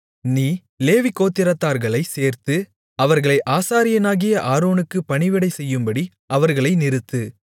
நீ லேவிகோத்திரத்தார்களைச் சேர்த்து அவர்கள் ஆசாரியனாகிய ஆரோனுக்குப் பணிவிடை செய்யும்படி அவர்களை நிறுத்து